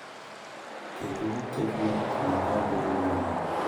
Kendo, giketo ler kod hera bedo marieny